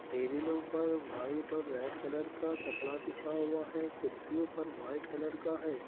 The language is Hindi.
टेबिलों पर व्हाइट और रेड कलर का कपड़ा बिछा हुआ है। कुर्सियों पर व्हाइट कलर का है।